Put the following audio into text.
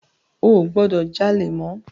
O ò gbọdọ̀ jalè mọ́.